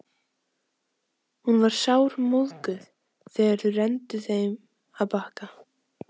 Hún var sármóðguð þegar þau renndu heim að Bakka.